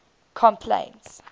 complaints